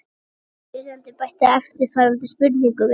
Spyrjandi bætti eftirfarandi spurningu við: